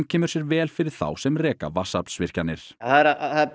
kemur sér vel fyrir þá sem reka vatnsaflsvirkjanir það er